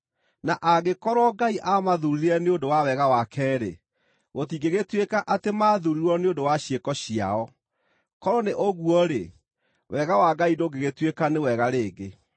Na angĩkorwo Ngai aamathuurire nĩ ũndũ wa wega wake-rĩ, gũtingĩgĩtuĩka atĩ maathuurirwo nĩ ũndũ wa ciĩko ciao; korwo nĩ ũguo-rĩ, wega wa Ngai ndũngĩgĩtuĩka nĩ wega rĩngĩ.